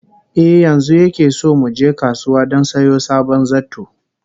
Eh, yanzu yake so mu je kasuwa don sayo sabon zarto